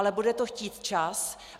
Ale bude to chtít čas.